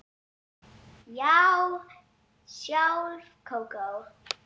Já, sjálf Kókó